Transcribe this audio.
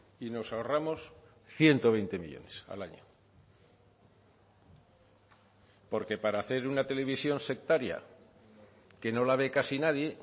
y nos ahorramos ciento veinte millónes al año porque para hacer una televisión sectaria que no la ve casi nadie